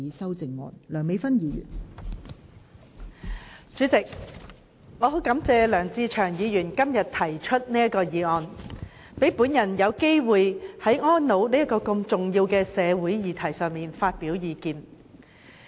代理主席，很感謝梁志祥議員今天提出這項有關"跨境安老"的議案，讓我有機會就安老這項重要社會議題發表意見。